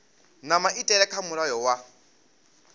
na maitele kha mulayo wa